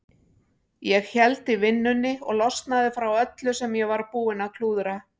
Ég héldi vinnunni og losnaði frá öllu sem ég var búinn að klúðra.